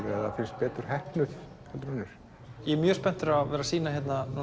eða finnst betur heppnuð en önnur ég er mjög spenntur að sýna